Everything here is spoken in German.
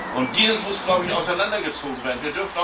Und dies muss, glaube ich, auseinandergezogen werden.